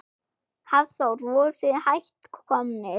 Hafþór: Voruð þið hætt komnir?